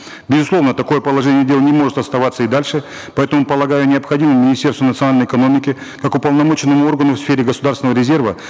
безусловно такое положение дел не может оставаться и дальше поэтому полагаю необходимо министерству национальной экономики как уполномоченному органу в сфере государственного резерва